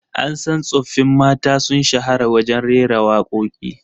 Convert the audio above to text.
An san tsoffin mata sun shahara wajen rera wakoki